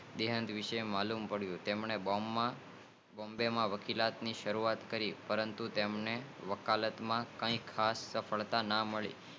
દેહાંત વિષે માલુમ પડીઉં બોમ્બે માં વકીલાત ની શરૂઆત કરી પરંતુ વકીલાત માં ખાસ સફળતા મળી નાઈ